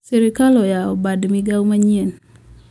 sirkal oyao bad migao ma nyien